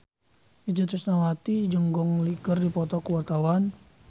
Itje Tresnawati jeung Gong Li keur dipoto ku wartawan